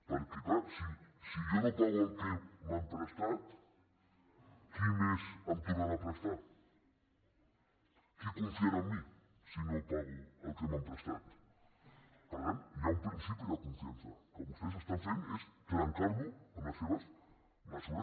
perquè clar si jo no pago el que m’han prestat qui més em tornarà a prestar qui confiarà en mi si no pago el que m’han prestat per tant hi ha un principi de confiança el que vostès estan fent és trencar lo amb les seves mesures